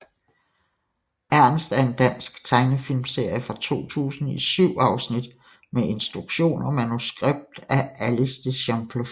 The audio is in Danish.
Ernst er en dansk tegnefilmserie fra 2000 i 7 afsnit med instruktion og manuskript af Alice de Champfleury